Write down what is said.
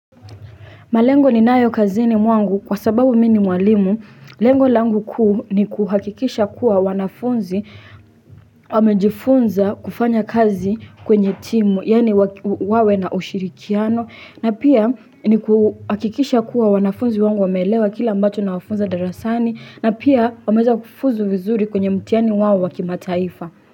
Malengo ninayo kazini mwangu kwa sababu mimi ni mwalimu, lengo langu kuu ni kuhakikisha kuwa wanafunzi wamejifunza kufanya kazi kwenye timu, yani wawe na ushirikiano, na pia ni kuhakikisha kuwa wanafunzi wangu wame elewa kila ambacho nawafunza darasani, na pia wameza kufuzu vizuri kwenye mtihani wao wa kimataifa.